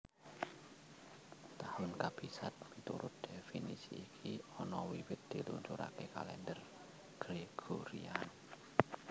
Tahun Kabisat miturut dhéfinisi iki ana wiwit diluncuraké kalendher Gregorian